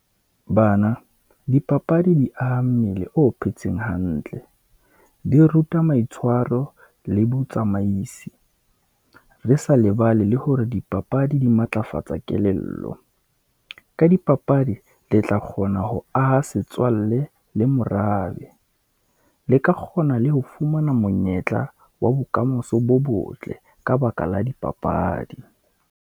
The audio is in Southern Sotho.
Bana, dipapadi di aha mmele o phetseng hantle, di ruta maitshwaro le botsamaisi, re sa lebale le hore dipapadi di matlafatsa kelello. Ka dipapadi, le tla kgona ho aha setswalle le morabe, le ka kgona le ho fumana monyetla wa bokamoso bo botle, ka baka la dipapadi.